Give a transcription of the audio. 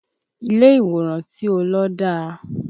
Ilé ìwòran tí ó lọ dá